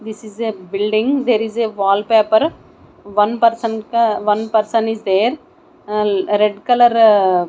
this is a building there is a wall paper one person ka one person is there ahh red colour--